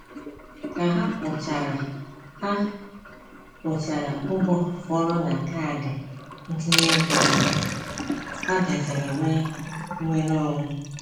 Ka ha kwụchara ha kwụchara ụgwọ fọrọ na kaadị ntinyeego ha, ha bịaziri nwee nnwereonwe.